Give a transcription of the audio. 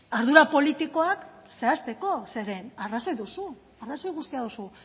ardura politikoak zehazteko zeren arrazoi duzu arrazoi guztia duzu